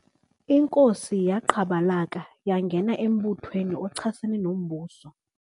Inkosi yaqhabalaka yangena embuthweni ochasene nombuso.